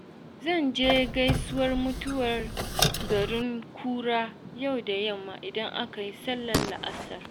Zan je gaisuwar mutuwa garin kura yau da yamma idan aka yi sallar la'asar.